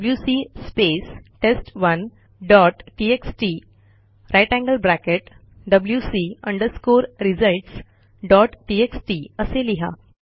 WC space test one dot TXT grater than sign wc results dot TXT असे लिहा